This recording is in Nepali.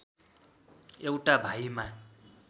एउटा भाइमा